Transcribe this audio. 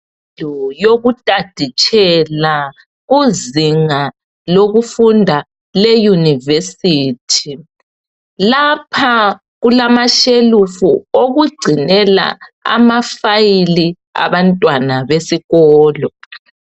Indawo yokutaditshela kuzinga lokufunda leYunivesithi lapha kulamashelufu okugcinela amafayili abantwana besikolo.